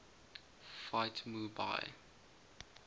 fight mu bai